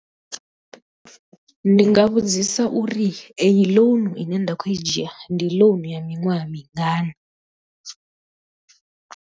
Ndi nga vhudzisa uri eyi loan i ne nda khou i dzhia ndi lounu ya miṅwaha mingana.